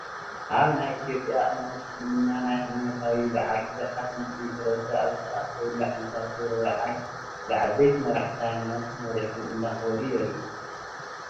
ኣብ ናይ ኢ/ያ እምነት እስልምና ናይ ሃይማኖታዊ በዓል ብዙሓት ሙስሊም ሕ/ሰብ ኣብ ዝተኣከብሉ ዓመታዊ ክብረ ሰዓል ብዓበይቲ መራሕቲ ሃይማኖቶም ተመሪሖም እንዳኽበሩ የርኢ፡፡